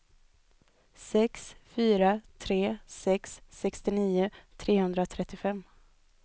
sex fyra tre sex sextionio trehundratrettiofem